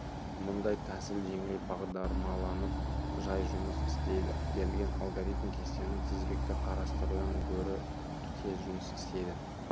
мұндай тәсіл жеңіл бағдармаланып жай жұмыс істейді берілген алгоритм кестені тізбекті қарастырудан гөрі тез жұмыс істейді